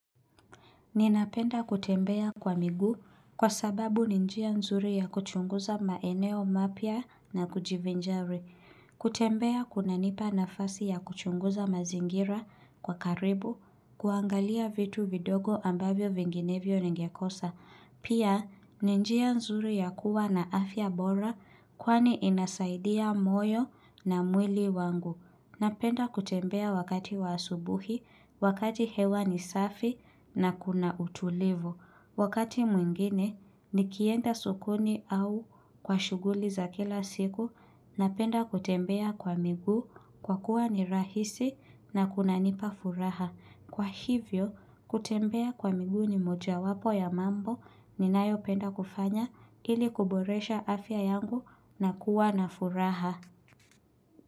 Ninapenda kutembea kwa miguu kwa sababu ni njia nzuri ya kuchunguza maeneo mapya na kujivinjari. Kutembea kunanipa nafasi ya kuchunguza mazingira kwa karibu, kuangalia vitu vidogo ambavyo vinginevyo ningekosa. Pia ni njia nzuri ya kuwa na afya bora kwani inasaidia moyo na mwili wangu. Napenda kutembea wakati wa asubuhi, wakati hewa ni safi na kuna utulivu. Wakati mwingine, nikienda sokoni au kwa shuguli za kila siku, napenda kutembea kwa miguu kwa kuwa ni rahisi na kuna nipa furaha. Kwa hivyo, kutembea kwa miguu ni moja wapo ya mambo ni nayo penda kufanya ili kuboresha afya yangu na kuwa na furaha.